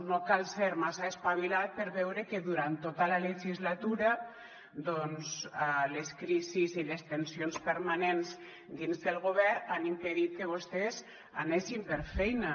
no cal ser massa espavilat per veure que durant tota la legislatura doncs les crisis i les tensions permanents dins del govern han impedit que vostès anessin per feina